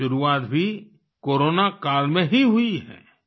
ये शुरुआत भी कोरोना काल में ही हुई है